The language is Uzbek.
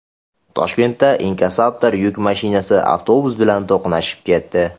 Toshkentda inkassator yuk mashinasi avtobus bilan to‘qnashib ketdi .